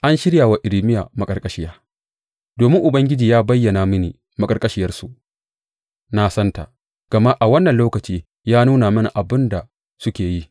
An shirya wa Irmiya maƙarƙashiya Domin Ubangiji ya bayyana mini maƙarƙashiyarsu, na santa, gama a wannan lokaci ya nuna mini abin da suke yi.